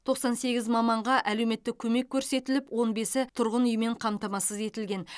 тоқсан сегіз маманға әлеуметтік көмек көрсетіліп он бесі тұрғын үймен қамтамасыз етілген